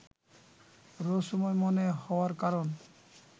রহস্যময় মনে হওয়ার কারণ